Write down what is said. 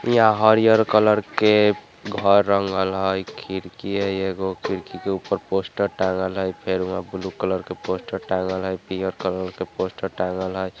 यहाँ हरियर कलर के घर रंगल हइ खिड़की है एगो खिड़की के ऊपर पोस्टर टांगल हई फिर वहां ब्लू कलर के पोस्टर टंगल है पीले कलर के पोस्टर टंगल है।